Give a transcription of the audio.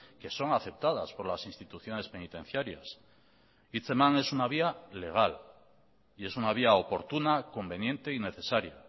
que son aceptadas por las instituciones penitenciarias hitzeman es una vía legal y es una vía oportuna conveniente y necesaria